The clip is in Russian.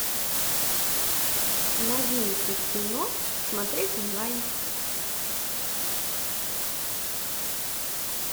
новинки кино смотреть онлайн